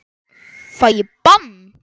Fæ ég bann?